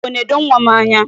Biko, nedo nwa m anya.